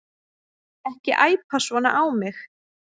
Ekki æpa svona á mig.